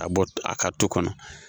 Ka bɔ a kan tu kɔnɔ